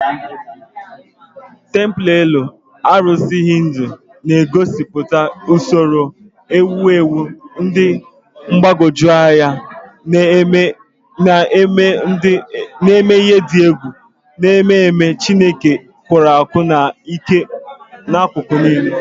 Templelọ arụsị Hindu na-egosipụta usoro owuwu dị mgbagwoju anya na emume dị egwu, na-eme ememe Chineke n'akụkụ niile nke ndụ.